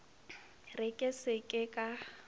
re ke se ke ka